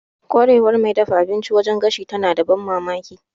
Ƙwarewar mai dafa abinci wajen gashi tana da ban mamaki.